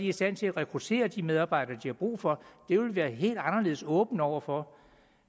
i stand til at rekruttere de medarbejdere de har brug for det vil vi være helt anderledes åbne over for